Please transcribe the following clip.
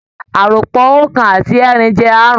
Àròpọ̀ Oókan àti ẹẹ́rin jẹ́ aárùn-ún